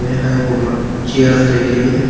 hai bo ma chair tai ley.